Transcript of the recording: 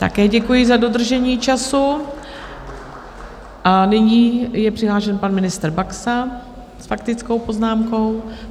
Také děkuji za dodržení času a nyní je přihlášen pan ministr Baxa s faktickou poznámkou.